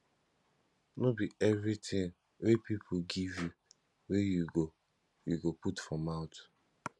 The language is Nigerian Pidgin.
no be everytin wey pipo give you wey you go you go put for mouth